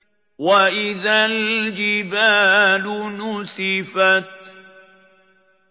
وَإِذَا الْجِبَالُ نُسِفَتْ